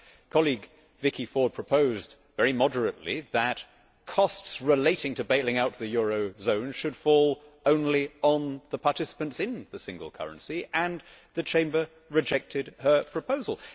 My colleague, Vicky Ford, proposed, very moderately, that costs relating to bailing out the eurozone should fall only on the participants in the single currency, and the Chamber rejected her proposal.